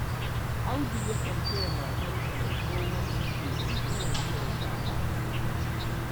Audu yakan taya matarsa mai tsohon ciki wanke-wanke da shara